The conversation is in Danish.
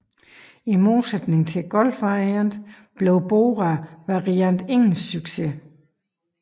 I modsætning til Golf Variant blev Bora Variant ingen succes